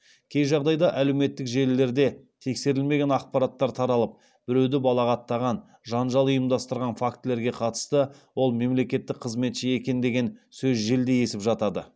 кей жағдайда әлеуметтік желілерде тексерілмеген ақпараттар таралып біреуді балағаттаған жанжал ұйымдастырған фактілерге қатысты ол мемлекеттік қызметші екен деген сөз желдей есіп жатады